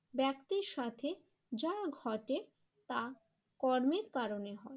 ব্যক্তির সাথে যা ঘটে তা কর্মের কারণে হয়।